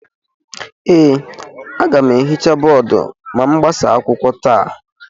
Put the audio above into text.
Ee, aga m ehicha bọọdụ ma m gbasaa akwụkwọ taa